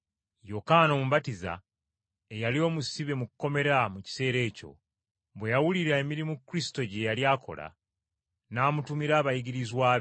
Yokaana Omubatiza, eyali omusibe mu kkomera mu kiseera ekyo, bwe yawulira emirimu Kristo gye yali akola, n’amutumira abayigirizwa be.